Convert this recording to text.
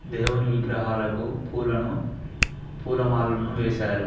దేవుని విగ్రహాలకు పూలను పూలమాలను వేశారు.